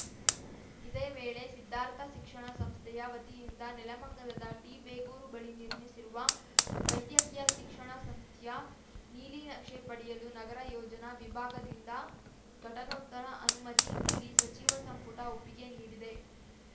ಇದೇ ವೇಳೆ ಸಿದ್ಧಾರ್ಥ ಶಿಕ್ಷಣ ಸಂಸ್ಥೆಯ ವತಿಯಿಂದ ನೆಲಮಂಗಲದ ಟಿ ಬೇಗೂರು ಬಳಿ ನಿರ್ಮಿಸಿರುವ ವೈದ್ಯಕೀಯ ಶಿಕ್ಷಣ ಸಂಸ್ಥೆಯ ನೀಲಿನಕ್ಷೆ ಪಡೆಯಲು ನಗರ ಯೋಜನಾ ವಿಭಾಗದಿಂದ ಘಟನೋತ್ತರ ಅನುಮತಿ ನೀಡಿ ಸಚಿವ ಸಂಪುಟ ಒಪ್ಪಿಗೆ ನೀಡಿದೆ